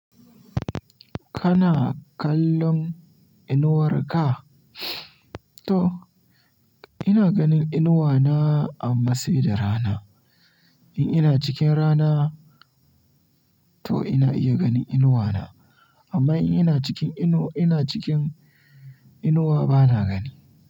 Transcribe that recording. Kana kallon inuwar ka? To ina ganin inuwa na amma sai da rana. In ina cikin rana to ina iya ganin inuwa na amma in ina cikin inuwa bana gani.